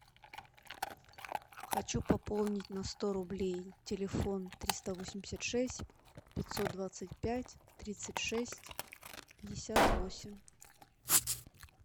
хочу пополнить на сто рублей телефон триста восемьдесят шесть пятьсот двадцать пять тридцать шесть пятьдесят восемь